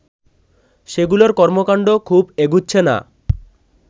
সেগুলোর কর্মকাণ্ড খুব এগুচ্ছে না